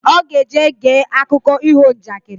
Oga eje gee akụko iho njakịrị